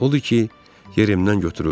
Odur ki, yerimdən götürüldüm.